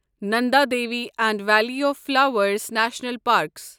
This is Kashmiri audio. Nanda Devi and Valley of Flowers National parks